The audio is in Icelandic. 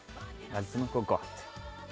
veldu nú eitthvað gott